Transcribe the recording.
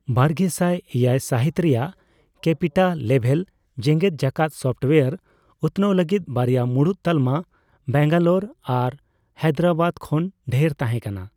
ᱵᱟᱨᱜᱮᱥᱟᱭ ᱮᱭᱟᱭ ᱥᱟᱹᱦᱤᱛ ᱨᱮᱭᱟᱜ ᱠᱮᱯᱤᱴᱟ ᱞᱮᱵᱷᱮᱞ ᱡᱮᱜᱮᱫ ᱡᱟᱠᱟᱛ ᱥᱚᱯᱴᱳᱣᱟᱨ ᱩᱛᱱᱟᱹᱣ ᱞᱟᱹᱜᱤᱫ ᱵᱟᱨᱭᱟ ᱢᱩᱲᱩᱫ ᱛᱟᱞᱢᱟ ᱵᱮᱝᱜᱟᱞᱚᱨ ᱟᱨ ᱦᱟᱭᱫᱨᱟᱵᱟᱫ ᱠᱷᱚᱱ ᱰᱷᱮᱨ ᱛᱟᱦᱮᱸ ᱠᱟᱱᱟ ᱾